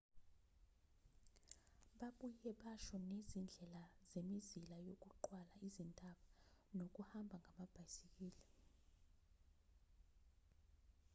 babuye basho nezindlela zemizila yokuqwala izintaba nokuhamba ngamabhisikili